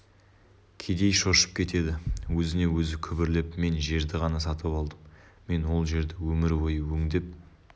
кедей шошып кетеді өзіне-өзі күбірлеп мен жерді ғана сатып алдым мен ол жерді өмір бойы өңдеп